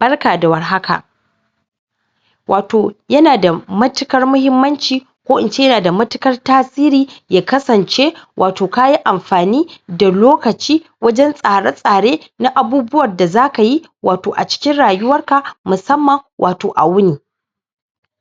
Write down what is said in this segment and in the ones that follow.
Barka da war haka wato ya na da machikar mahimanci, ko ince ya na da matukar tasiri, ya kasance, wato ka yi amfani da lokaci wajen tsare-tsare na abubuwar da za ka yi, wato a ciki rayuwar ka, masamma wato a wuni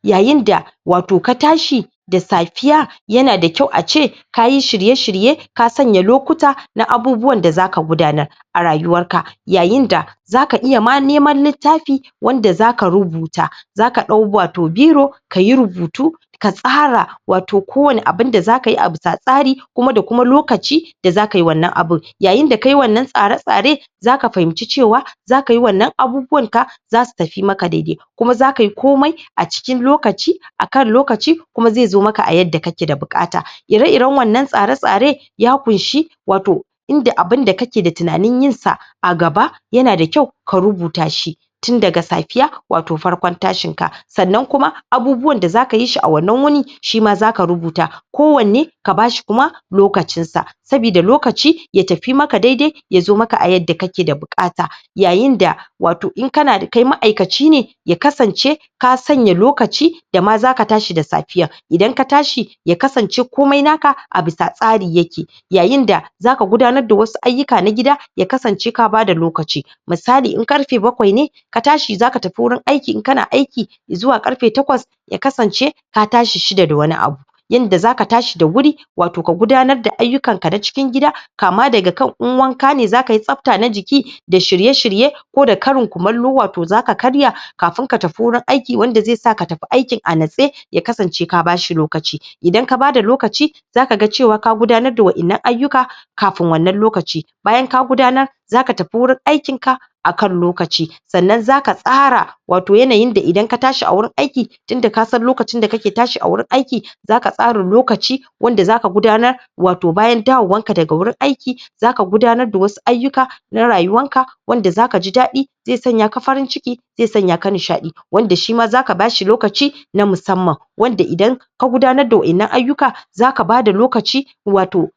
yayin da wato ka tashi da safiya, yana da kyau a ce ka yi shirye-shirye ka sanya lokuta na abubuwa da zaka gudana a rayuwar ka. Yayin da ma, za ka iya ma nemar litafi wanda za ka rubuta, za ka dau wato biro, ka yi rubutu ka tsara wato ko wani abun da za ka yi abu tsa tsari, kuma da kuma lokaci da za ka yi wannan abun. Yayin da kayi wannan tsare-tsare, za ka fahinci cewa, za kayi wannan abubuwar ka za su tafi maka daidai kuma za kayi komai, a ciki lokaci, akan lokaci kuma zai zo maka a yadda kake da bukata ire-ire wannan tsare-tsare, ya kunshi wato inda abun da kake da tunanin yin sa agaba, yanada kyau ka rubuta shi tunda safiya, wato farkon tashin ka, sannan kuma abubuwan da za ka yi shi a wannan wuni, shi ma za ka rubuta ko wanne, ka bashi kuma, lokacin sa sabida lokaci ya tafi maka daidai, ya zo maka a yadda kake da bukata, yayin da, wato in kanada kai maaikaci ne, ya kasance ka sanya lokaci dama za ka tashi da safiya, idan ka tashi ya kasance komai naka, abu tsatsari ya ke. Yayin da za ka gudanar da wasu ayuka na gida ya kasance ka bada lokaci misali, in karfe bakwai ne, ka tashi za ka tafi wurin aiki, in ka na aiki zuwa karfe takwas ya kasance ka tashi sida da wani abu. Yanda za ka tashi da wuri wato ka gudanar da ayukan ka na cikin gida kama da ga kan in wanka ne, za kayi sapta na jiki da shirye-shirye ko da karin kumarluwa toh za ka karya kafun ka tafi wurin aiki wanda zai sa ka tafi aikni a natse ya kasance ka bashi lokaci idan ka bada lokaci, za ka gan cewa ka gudanar da waennan ayuka, kafun wannan lokaci, bayan ka gudanar za ka tafi wurin aikin ka akan lokaci, sannan za ka tsara wato yanayin da idan ka tashi a wurin aiki tunda ka san lokacin da kake tashi a wurin aiki za ka tsara lokaci, wanda za ka gudanar, wato bayan dawan ka daga wurin aiki za ka gudanar da wasu ayuka na rayuwan ka, wanda za ka ji dadi, ze sanya ka farin ciki ze sanya kan nishadi wanda shi ma za ka bashi lokaci na musamman, wanda idan ka gudanar da waennan ayuka, za ka ba da lokaci wato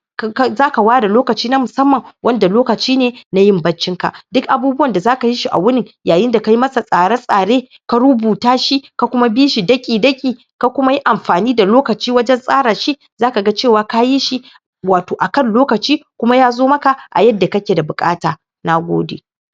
za ka wada lokaci na musamman wanda lokaci ne na yin baccin ka, duk abubuwan da za ka yi shi a wuni, yayi da ka yi masa tsari-tsari ka rubuta shi, ka kuma bishi daki daki ka kuma yi amfani da lokaci wajen tsara shi, za ka ga cewa ka yi shi wato akan lokaci kuma yazo maka a yadda ka ke da bukata, nagode.